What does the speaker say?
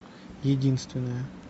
единственная